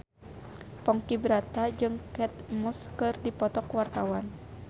Ponky Brata jeung Kate Moss keur dipoto ku wartawan